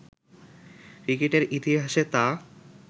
ক্রিকেটের ইতিহাসে তা